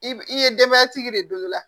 I i ye denbayatigi de don i la